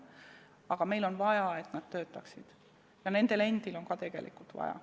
Aga meil on vaja, et nad töötaksid, ja nendel endil on ka tegelikult seda vaja.